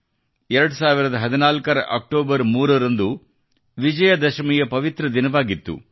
2014ರ October 3 ರಂದು ವಿಜಯದಶಮಿಯ ಪವಿತ್ರ ದಿನವಾಗಿತ್ತು